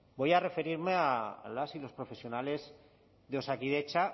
voy a referirme a las y los profesionales de osakidetza